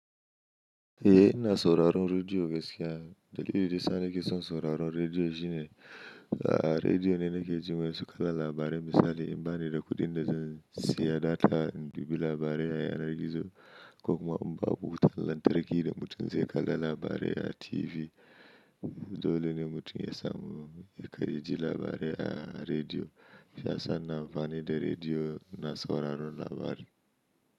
Eh ina sauraron rediyo gaskiya. Dalilin da ya sa nake son sauraron rediyo shine, ah rediyo ne nake jin wasu kalar labarai misali in bani da kuɗin da zan siya data in biɗi labarai a yanar gizo ko kuma in ba wuta lantarki da mutum zai kalla labarai a TV. Dole ne mutum ya samu, ya karya ji labarai a rediyo. Ina son ina amfani da rediyo ina sauraron labari.